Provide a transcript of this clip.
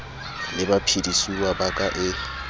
le baphedisuwa ba ka e